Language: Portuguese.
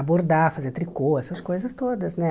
A bordar, fazer tricô, essas coisas todas, né?